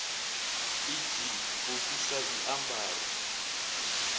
e g u fhisa zwiambaro